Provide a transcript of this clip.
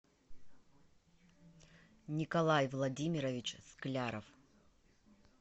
николай владимирович скляров